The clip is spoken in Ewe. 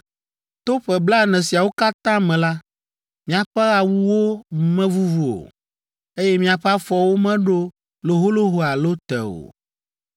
To ƒe blaene siawo katã me la, miaƒe awuwo mevuvu o, eye miaƒe afɔwo meɖo loholoho alo te o.